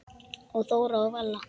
Og Þóra og Vala?